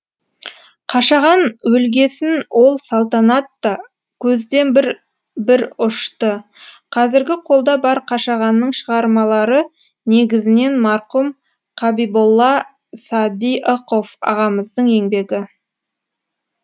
қашаған өлгесін ол салтанат та көзден бір бір ұшты қазіргі қолда бар қашағанның шығармалары негізінен марқұм қабиболла садиықов ағамыздың еңбегі